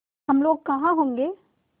हम लोग कहाँ होंगे